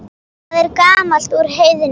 Það er gamalt úr Heiðni!